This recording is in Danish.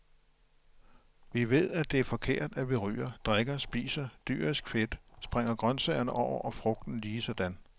Vi ved, at det er forkert, at vi ryger, drikker, spiser dyrisk fedt, springer grøntsagerne over og frugten ligesådan.